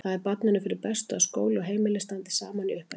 Það er barninu fyrir bestu að skóli og heimili standi saman í uppeldinu.